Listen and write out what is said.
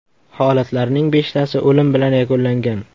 Holatlarning beshtasi o‘lim bilan yakunlangan.